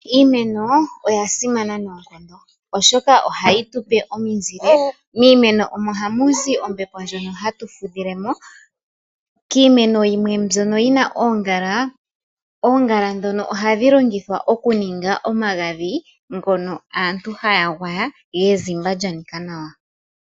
Iimeno oya simana nonkondo oshoka ohayi tupe omizile, miimeno omo hamu zi ombepo ndjono hatu fudhilemo. Kiimeno yimwe mbyono yi na oongala, oongala dhono ohadhi longithwa oku ninga omagadhi ngono aantu haya gwaya yezimba lyanika nawa.